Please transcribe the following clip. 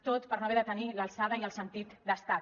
tot per no haver de tenir l’alçada i el sentit d’estat